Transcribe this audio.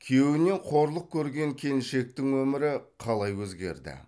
күйеуінен қорлық көрген келіншектің өмірі қалай өзгерді